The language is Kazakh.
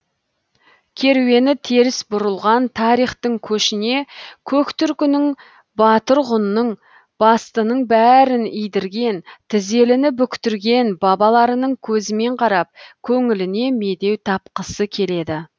керуені теріс бұрылған тарихтың көшіне көк түркінің батыр ғұнның бастының бәрін идірген тізеліні бүктірген бабаларының көзімен қарап көңіліне медеу тапқысы келеді